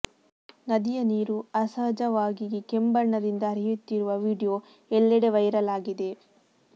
ನದಿಯ ನೀರು ಅಸಹಜವಾಗಿಗಿ ಕೆಂಬಣ್ಣದಿಂದ ಹರಿಯುತ್ತಿರುವ ವಿಡಿಯೋ ಎಲ್ಲೆಡೆ ವೈರಲ್ ಆಗಿದೆ